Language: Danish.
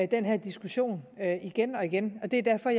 den her diskussion igen og igen og det er derfor